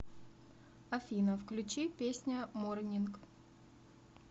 афина включи песня морнинг